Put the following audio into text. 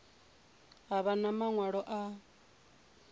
a vha na maṅwalo a